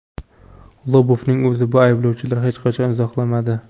Lobovning o‘zi bu ayblovlarni hech qachon izohlamadi.